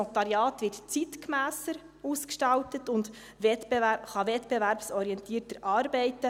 Das Notariat wird zeitgemässer ausgestaltet und kann wettbewerbsorientierter arbeiten;